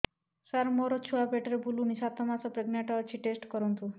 ସାର ମୋର ଛୁଆ ପେଟରେ ବୁଲୁନି ସାତ ମାସ ପ୍ରେଗନାଂଟ ଅଛି ଟେଷ୍ଟ କରନ୍ତୁ